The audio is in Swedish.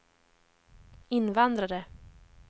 invandrare